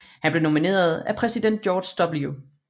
Han blev nomineret af præsident George W